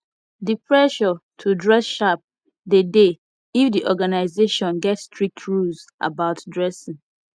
di pressure to dress sharp de dey if di organisation get strict rules about dressing